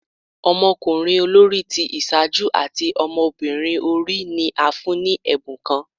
Ọmọkunrin olori ti iṣaaju ati ọmọbirin ori ni a fun ni ẹbun kan